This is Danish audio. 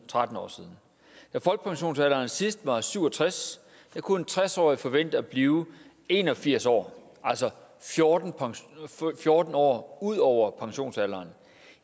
tretten år siden da folkepensionsalderen sidst var syv og tres kunne en tres årig forvente at blive en og firs år altså fjorten fjorten år ud over pensionsalderen